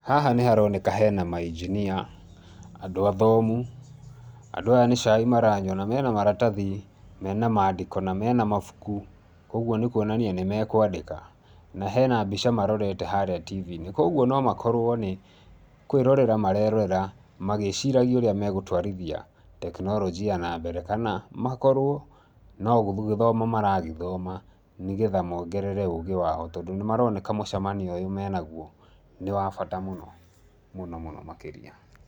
Haha nĩ haroneka he na ma Engineer, andũ athomu. Andũ aya nĩ cai maranyua na me na maratathi me na mandĩko na me na mabuku kwoguo nĩ kuonania nĩ me kwandĩka. Na hena mbica marorete harĩa TV -inĩ. Kwoguo no makorwo nĩ kwĩrorera marerorera magĩciragia ũrĩa megũtwarithia teknoronjia ĩyo na mbere kana makorwo no gũgĩthoma maragĩthoma nĩgetha mongerere ũũgĩ wao tondũ nĩmaroneka mũcemanio ũyũ menaguo, nĩ wa bata mũno mũno makĩria.